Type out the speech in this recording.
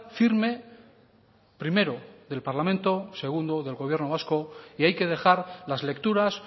firme primero del parlamento segundo del gobierno vasco y hay que dejar las lecturas